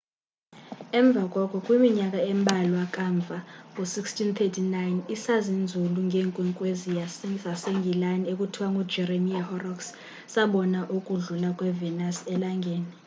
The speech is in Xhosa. emva koko kwiminyaka embalwa kamva ngo-1639 isazinzulu ngeenkwenkwezi sasengilani ekuthiwa ngujeremiah horrocks sabona ukudlula kwe-venus elangeni